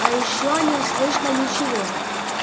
а ещё не слышно ничего